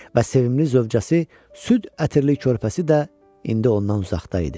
Və sevimli zövcəsi süd ətirli körpəsi də indi ondan uzaqda idi.